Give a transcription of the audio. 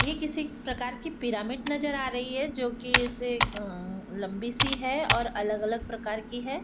ये किसी प्रकार की पिरामिड नज़र आ रही है जोकि ऐसे अह लम्बी सी है और अलग अलग प्रकार की है।